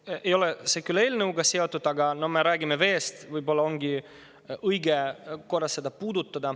See ei ole küll selle eelnõuga seotud, aga kuna me räägime veest, siis võib-olla ongi õige korra seda teemat puudutada.